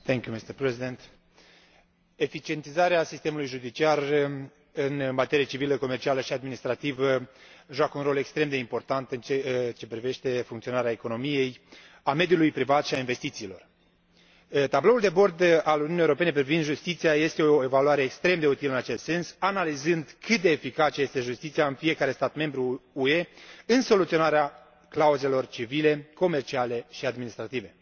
Mulțumesc, domnule președinte. Eficientizarea sistemului judiciar în materie civilă, comercială și administrativă joacă un rol extrem de important în ceea ce privește funcționarea economiei, a mediului privat și a investițiilor. Tabloul de bord al Uniunii Europene privind justiția este o evaluare extrem de utilă în acest sens, analizând cât de eficace este justiția în fiecare stat membru UE în soluționarea cauzelor civile, comerciale și administrative.